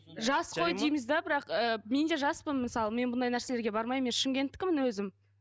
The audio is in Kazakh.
жас қой дейміз де бірақ ы мен де жаспын мысалы мен мұндай нәрселерге бармаймын мен шымкентікімін өзім